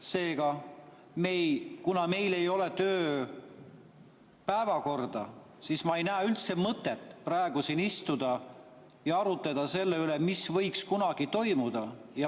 Seega, kuna meil ei ole päevakorda, siis ma ei näe üldse mõtet praegu siin istuda ja arutada selle üle, mis võiks kunagi toimuda.